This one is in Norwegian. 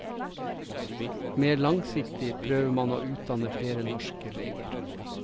Mer langsiktig prøver man å utdanne flere norske leger.